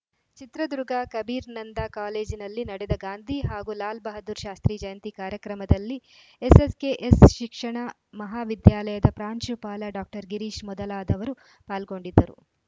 ಚಿತ್ರದುರ್ಗ ಕಬೀರ್ ನಂದಾ ಕಾಲೇಜಿನಲ್ಲಿ ನಡೆದ ಗಾಂಧಿ ಹಾಗೂ ಲಾಲ್‌ ಬಹದ್ದೂರ್‌ ಶಾಸ್ತ್ರೀ ಜಯಂತಿ ಕಾರ್ಯಕ್ರಮದಲ್ಲಿ ಎಸ್‌ಎಸ್‌ಕೆಎಸ್‌ ಶಿಕ್ಷಣ ಮಹಾವಿದ್ಯಾಲಯದ ಪ್ರಾಂಶುಪಾಲ ಡಾಕ್ಟರ್ ಗಿರೀಶ್‌ ಮೊದಲಾದವರು ಪಾಲ್ಗೊಂಡಿದ್ದರು